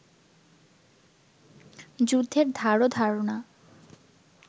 যুদ্ধের ধারও ধার না